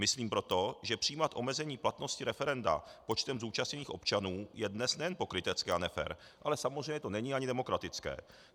Myslím proto, že přijímat omezení platnosti referenda počtem zúčastněných občanů je dnes nejen pokrytecké a nefér, ale samozřejmě to není ani demokratické.